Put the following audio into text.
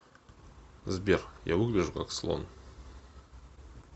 сбер я выгляжу как слон